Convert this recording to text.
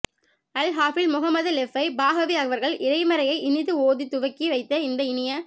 அல் ஹாபிழ் முஹம்மது லெப்பை பாகவி அவர்கள் இறைமறையை இனிது ஓதி துவக்கி வைத்த இந்த இனிய